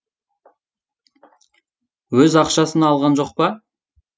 өз ақшасына алған жоқ па